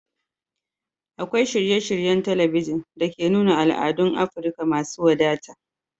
Akwai shirye-shiryen talabijin da ke nuna al'adun Afirka masu wadata